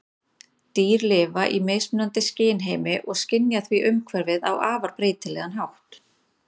Dýr lifa í mismunandi skynheimi og skynja því umhverfið á afar breytilegan hátt.